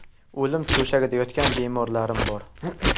O‘lim to‘shagida yotgan bemorlarim bor.